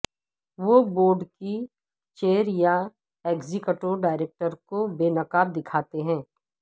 وہ بورڈ کی چیئر یا ایگزیکٹو ڈائریکٹر کو بے نقاب دکھاتے ہیں